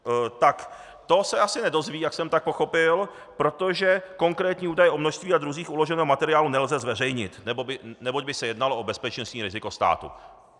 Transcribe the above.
Tak to se asi nedozvědí, jak jsem tak pochopil, protože konkrétní údaje o množství a druzích uloženého materiálu nelze zveřejnit, neboť by se jednalo o bezpečnostní riziko státu.